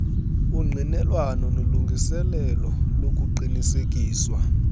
ungqinelwano nolungiselelo lokuqinisekiswa